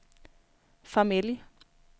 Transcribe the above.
familj